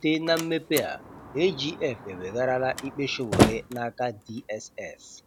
Site na mmepe a, AGF ewegharala ikpe Sowore n'aka DSS.